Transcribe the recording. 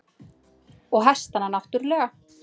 Og hestana náttúrlega.